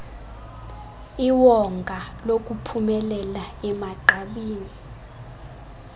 iwonga lokuphumelela emagqabini